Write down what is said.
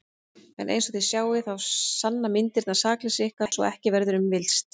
En einsog þið sjáið þá sanna myndirnar sakleysi ykkar svo að ekki verður um villst.